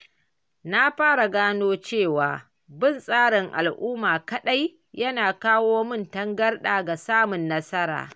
Na fara gano cewa bin tsarin al’umma kaɗai yana kawo mun tangarɗa ga samun nasara.